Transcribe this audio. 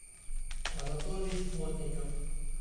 анатолий плотников